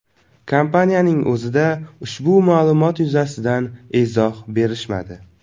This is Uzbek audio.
Kompaniyaning o‘zida ushbu ma’lumot yuzasidan izoh berishmadi.